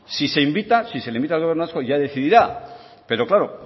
si se invita si se le invita al gobierno vasco ya decidirá pero claro